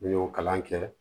N'i y'o kalan kɛ